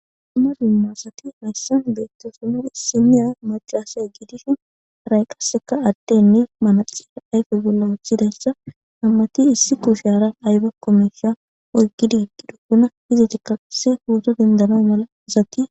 Dumma dumma sathi hayssan beeththoosona; issinniya maccasey giidishin haray qasseka addenne manaxire ayfe bolla woththidayssa nam7athi issi kuushaara aybakko meeshsha oyqqidi yeddidosona; izethikka issi phootho denddanawu mala asathi...